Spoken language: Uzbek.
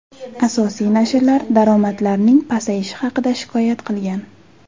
Asosiy nashrlar daromadlarning pasayishi haqida shikoyat qilgan.